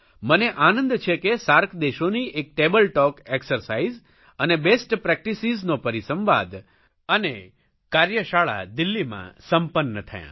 મને આનંદ છે કે સાર્ક દેશોની એક ટેબલટોક એકસરસાઇઝ ઇઝ અને બેસ્ટ પ્રેક્ટિસિઝનો પરિસંવાદ અને કાર્યશાળા દિલ્હીમાં સંપન્ન થયા